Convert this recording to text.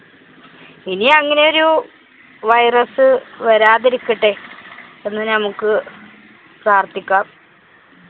ഇനിയങ്ങനെ ഒരു virus വരാതിരിക്കട്ടെ എന്ന് നമുക്ക് പ്രാര്‍ഥിക്കാം.